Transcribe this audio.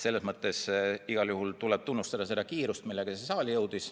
Aga igal juhul tuleb tunnustada seda kiirust, millega see eelnõu siia saali jõudis.